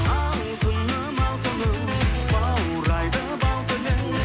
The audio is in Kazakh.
алтыным алтыным баурайды бал тілің